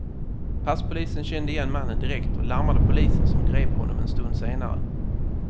Passpolisen kände igen mannen direkt och larmade polisen som grep honom en stund senare.